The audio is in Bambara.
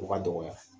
O ka dɔgɔya